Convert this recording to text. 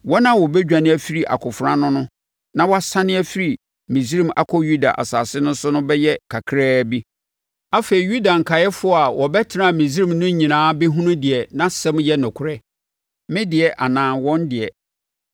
Wɔn a wɔbɛdwane afiri akofena ano na wasane afiri Misraim akɔ Yuda asase so no bɛyɛ kakraa bi. Afei Yuda nkaeɛfoɔ a wɔbɛtenaa Misraim no nyinaa bɛhunu deɛ nʼasɛm yɛ nokorɛ; me deɛ anaa wɔn deɛ.